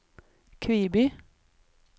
Kviby